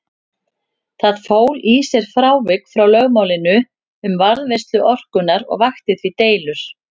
Það fól í sér frávik frá lögmálinu um varðveislu orkunnar og vakti því deilur.